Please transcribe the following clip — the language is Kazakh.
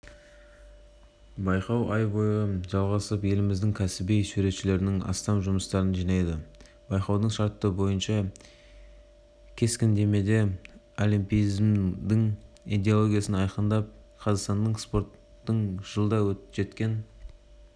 байқау ай бойы жалғасып еліміздің кәсіби суретшілерінің астам жұмыстарын жинады байқаудың шарты бойынша кескіндемеде олимпизмнің идеологиясын айқындап қазақстандық спорттың жылда жеткен